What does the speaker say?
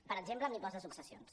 per exemple amb l’impost de successions